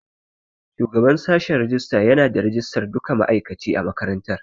Shugaban sashen rajista yana da rajistar duka ma'aikaci a makarantar.